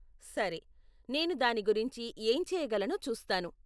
సరే, నేను దాని గురించి ఏం చేయగలనో చూస్తాను.